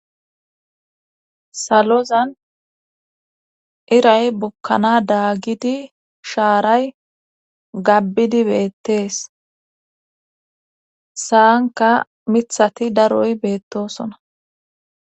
Salozan iray bukkana daagidi shaaray gabbidi beettees saanka mithati daroy beettosona.